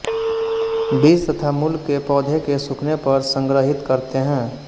बीज तथा मूल के पौधे के सूखने पर संग्रहीत करते हैं